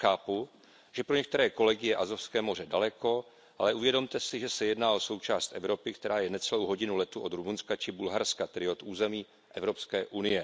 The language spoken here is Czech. Chápu, že pro některé kolegy je Azovské moře daleko, ale uvědomte si, že se jedná o součást Evropy, která je necelou hodinu letu od Rumunska či Bulharska, tedy od území EU.